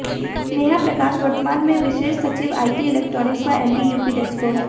नेहा प्रकाश वर्तमान में विशेष सचिव आईटी इलेक्ट्रानिक्स व एमडी यूपीडेस्को है